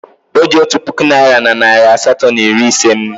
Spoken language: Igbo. Oji otu puku naira na narị asatọ na iri ise m.